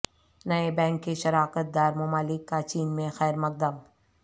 نئے بینک کے شراکت دار ممالک کا چین میں خیر مقدم